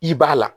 I b'a la